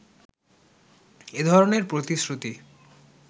এ ধরনের প্রতিশ্রুতি